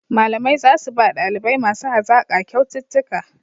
Malamai za su ba ɗalibai masu hazaƙa kyaututtuka